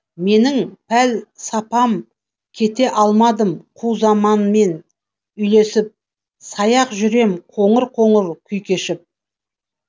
менің пәлсапам кете алмадым қу заманмен үйлесіп саяқ жүрем қоңыр қоңыр күй кешіп